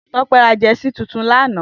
Tope rà jèsí tútùn lànã